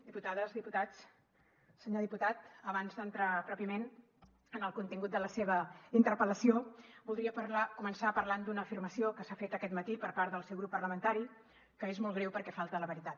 diputades diputats senyor diputat abans d’entrar pròpiament en el contingut de la seva interpel·lació voldria començar parlant d’una afirmació que s’ha fet aquest matí per part del seu grup parlamentari que és molt greu perquè falta a la veritat